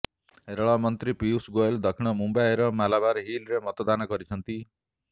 ରେଳ ମନ୍ତ୍ରୀ ପୀୟୂଷ ଗୋଏଲ ଦକ୍ଷିଣ ମୁମ୍ବାଇର ମାଲାବାର ହିଲରେ ମତଦାନ କରିଛନ୍ତି